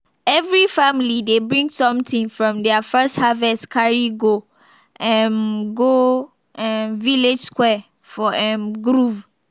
every family dey bring smething from their first harvest carry go um go um village square for um groove.